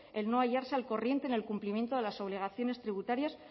el no hallarse al corriente en el cumplimiento de las obligaciones tributarias